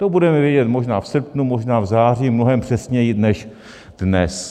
To budeme vědět možná v srpnu, možná v září mnohem přesněji než dnes.